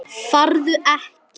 Farðu ekki.